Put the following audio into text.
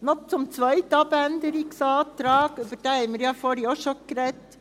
Noch zum zweiten Abänderungsantrag: Über diesen haben wir ja vorher auch schon gesprochen.